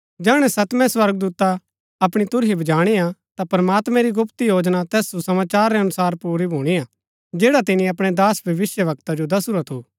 जैहणै सतमें स्वर्गदूता अपणी तुरही बजाणी हा ता प्रमात्मैं री गुप्त योजना तैस सुसमाचार रै अनुसार पुरी भूणी हा जैड़ा तिनी अपणै दास भविष्‍यवक्ता जो दसुरा थू